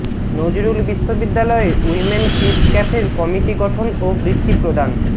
নজরুল বিশ্ববিদ্যালয়ে women peace ক্যাফের committee গঠন ও বৃত্তি প্রদান